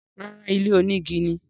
Rárá, ilé onígi ni.